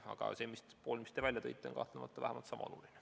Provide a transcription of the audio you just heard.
Aga see valdkond, mille teie välja tõite, on kahtlemata vähemalt sama oluline.